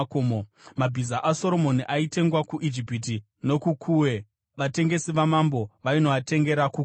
Mabhiza aSoromoni aitengwa kuIjipiti nokuKuwe vatengesi vamambo vainoatengera kuKuwe.